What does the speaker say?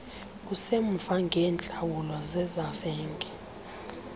usemva ngeentlawulo zezavenge